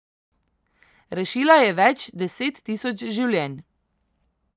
Rešila je več deset tisoč življenj.